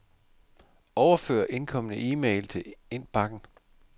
Overfør indkomne e-mail til indbakken.